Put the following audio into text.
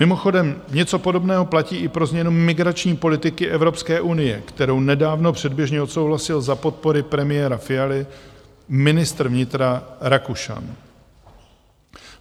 Mimochodem, něco podobného platí i pro změnu migrační politiky Evropské unie, kterou nedávno předběžně odsouhlasil za podpory premiéra Fialy ministr vnitra Rakušan.